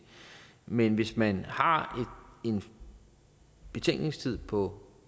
men hvis man har en betænkningstid på